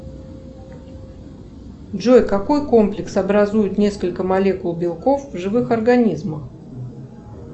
джой какой комплекс образуют несколько молекул белков в живых организмах